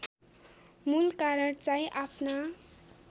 मूल कारण चाहिँ आफ्ना